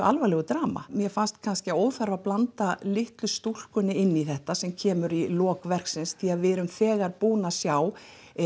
alvarlegu drama mér fannst kannski óþarfi að blanda litlu stúlkunni inn í þetta sem kemur í lok verksins því við erum þegar búin að sjá